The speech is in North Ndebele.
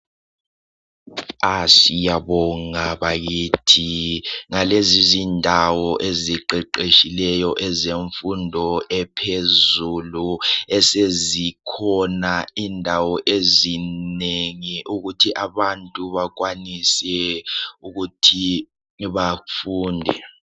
Siyababonga bakithi ngalezi zindawo eziqeqetshileyo zemfundo ephezulu esezikhona indawo ezinengi ukuthi abantu bakwanise ukuthi bafunde